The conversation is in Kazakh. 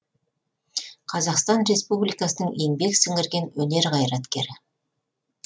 қазақстан республикасының еңбек сіңірген өнер қайраткері